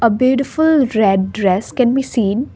a beautiful red dress can be seen.